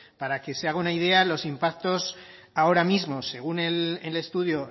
para que se haga una idea los impactos ahora mismo según el estudio